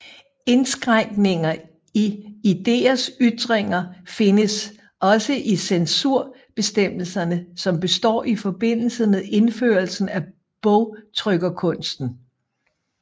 Indskrænkninger i idéers ytringer findes også i censurbestemmelserne som opstår i forbindelse med indførelsen af bogtrykkerkunsten